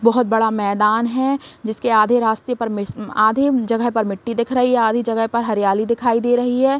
बोहोत बड़ा मैदान है जिसके आधे रास्ते पर मिस मम आधे जगह पर मिट्टी दिख रही आधी जगह पर हरियाली दिखाई दे रही है।